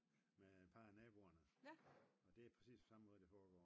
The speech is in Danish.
Med et par af naboerne og det er præcis den samme måde det foregår